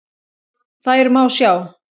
Þær má sjá